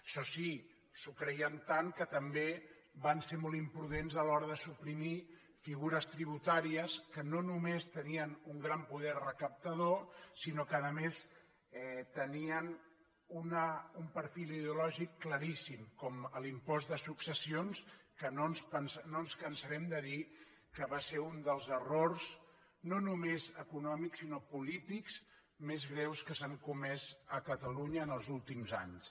això sí s’ho creien tant que també van ser molt imprudents a l’hora de suprimir figures tributàries que no només tenien un gran poder recaptador sinó que a més tenien un perfil ideològic claríssim com l’impost de successions que no ens cansarem de dir que va ser un dels errors no només econòmics sinó polítics més greus que s’han comès a catalunya en els últims anys